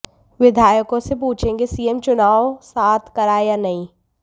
विधायकों से पूछेंगे सीएम चुनाव साथ कराएं या नहीं